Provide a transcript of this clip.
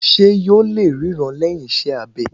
Ṣé yóò lè ríran lẹ́yìn iṣẹ́ abẹ